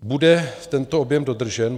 Bude tento objem dodržen?